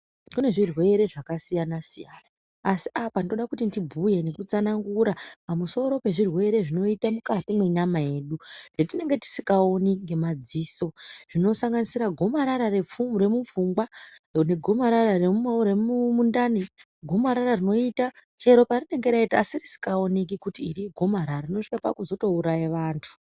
Kune zvirwere zvakasiyana siyana asi apa ndinoda kuti ndibhuye nekutsanangura pamusoro pezvirwere zvinoitika mukati mwenyama yedu zvatinenge tisingaoni ngemadziso zvinosanganisira gomarara remupfungwa negomarara remundani gomarara rinoita chero parinenge raita tisingaoni kuti iri igomarara rinozosvika pakuuraya vanthu.